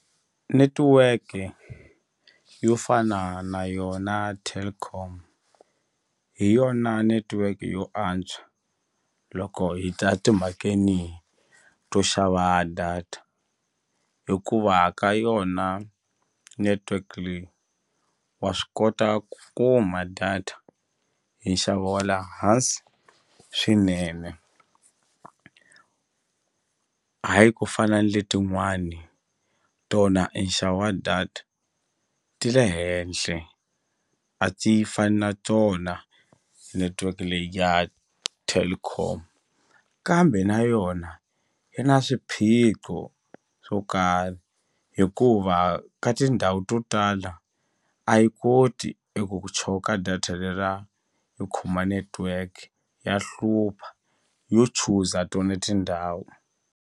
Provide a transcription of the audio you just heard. Netiweke yo fana na yona Telkom hi yona netiweke yo antswa loko hi ta timhakeni to xava data hikuva ka yona network leyi wa swi kota ku kuma data hi nxavo wa le hansi swinene hayi ku fana ni letin'wani tona e nxavo wa data ti le henhle a ti fani na tona network leyi ya Telkom kambe na yona yi na swiphiqo swo karhi hikuva ka tindhawu to tala a yi koti eku ku choka data leriya yi khoma network ya hlupha yo chuza tona tindhawu.